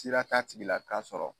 Sera t'a tigila k'a sɔrɔ